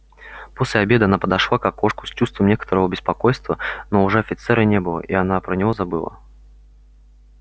после обеда она подошла к окошку с чувством некоторого беспокойства но уже офицера не было и она про него забыла